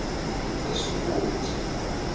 esukoti